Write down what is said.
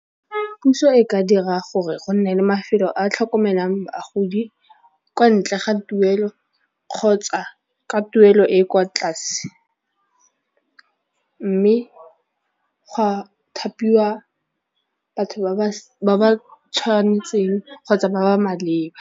Puso e ka dira gore go nne le mafelo a a tlhokomelang bagodi kwa ntle ga tuelo kgotsa ka tuelo e e kwa tlase mme gwa thapiwa batho ba ba tshwanetseng kgotsa ba ba maleba.